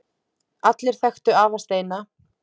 Allir þekktu afa Steina.